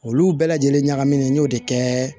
Olu bɛɛ lajɛlen ɲagaminen n y'o de kɛ